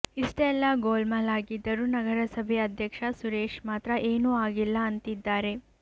ಇಷ್ಟೆಲ್ಲಾ ಗೋಲ್ಮಾಲ್ ಆಗಿದ್ದರೂ ನಗರಸಭೆ ಅಧ್ಯಕ್ಷ ಸುರೇಶ್ ಮಾತ್ರ ಏನೂ ಆಗಿಲ್ಲ ಅಂತಿದ್ದಾರೆ